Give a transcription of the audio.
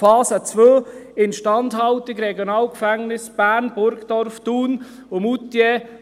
Phase 2 betrifft die Instandhaltung der RG Bern, Burgdorf, Thun und Moutier: